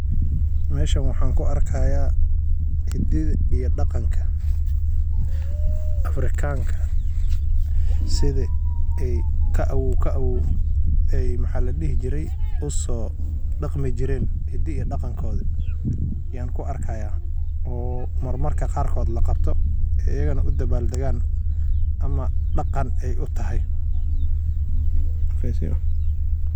Mesha waxaan kuarkaya hididha iyo daqanka Afrikanka siey usoodaqmi jireen hididha iyo daqamkoodha yaan kuarkaya oo marmarka qaar laqabto iyagana udabal dagaan daqan ey utahy.